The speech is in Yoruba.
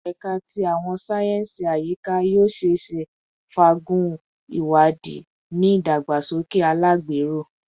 Ẹka ti Awọn sáyẹnsì Ayika yoo ṣeese faagun iwadii ni idagbasoke alagbero